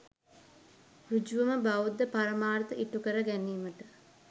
සෘජුවම බෞද්ධ පරමාර්ථ ඉටු කර ගැනීමට